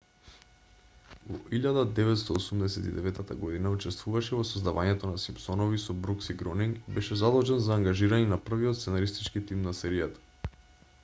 во 1989 г учествуваше во создавањето на симпсонови со брукс и гронинг и беше задолжен за ангажирање на првиот сценаристички тим на серијата